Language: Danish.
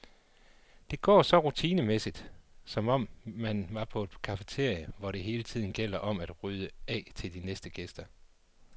Det går så rutinemæssigt, som om man er på et cafeteria, hvor det hele tiden gælder om at rydde af til de næste gæster.